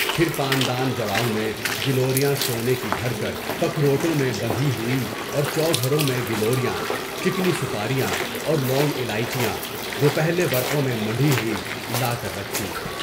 پھر پان دان جڑاؤ میں گلوریاں سونے کی بھر کر پکھ روتو میں بندھی ہوئیں اور چوگھروں میں گلوریاں، چکنی سپاریاں اور لونگ الائچیاں، روپہلے ورقوں میں منڈھی ہوئی لاکر رکھیں۔